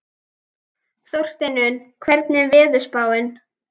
Þórsteinunn, hvernig er veðurspáin?